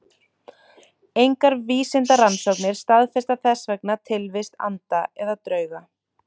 Engar vísindarannsóknir staðfesta þess vegna tilvist anda eða drauga.